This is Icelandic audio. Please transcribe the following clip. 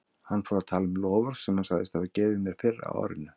Hann fór að tala um loforð sem hann sagðist hafa gefið mér fyrr á árinu.